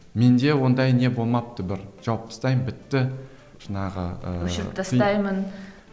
менде ондай не болмапты бір жауып тастаймын бітті жаңағы ыыы өшіріп тастаймын